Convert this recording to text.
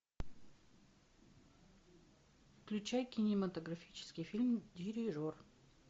включай кинематографический фильм дирижер